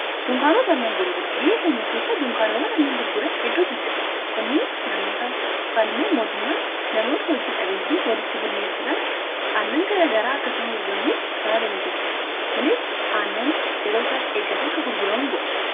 dunkaanota annan gurguran biyya keenya keessa duunkaanowwan annan gurguran hedduutu jira kunnis namoota yokaan immoo mootummaan namoota hojii dhabeyyi walitti gurmeessuudhaan annanaa garagaraakka isaan gurguraniif kan haala miijessuudha kunis annan yeroo isaatti eeggate akka gurguramuu godhan